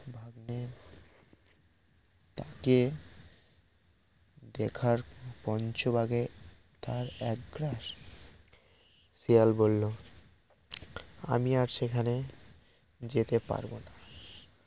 তাকে দেখার পঞ্চবাঘে তার এক গ্রাস শেয়াল বলল আমি আর এখানে যেতে পারব না